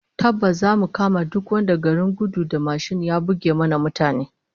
Tabbas zamu kama duk wanda garin gudu da mashin ya buge mana mutane